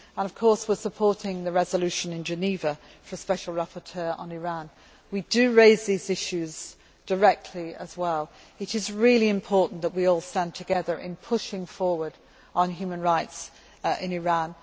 Of course, we are supporting the resolution in Geneva for a special rapporteur on Iran. We do raise these issues directly as well it is really important that we all stand together in pushing forward on human rights in Iran.